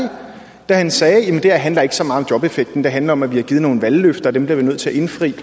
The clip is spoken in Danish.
da han sagde det her handler ikke så meget om jobeffekten det handler om at vi har givet nogle valgløfter og dem bliver vi nødt til at indfri